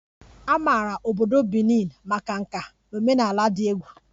A maara obodo Benin maka nka na omenala dị egwu